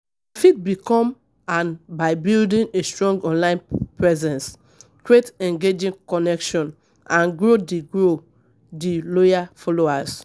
I fit become am by building a strong online presence, create engaging connection and grow di grow di loyal followers.